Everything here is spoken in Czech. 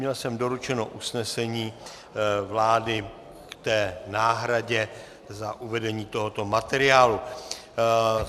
Měl jsem doručeno usnesení vlády k té náhradě za uvedení tohoto materiálu.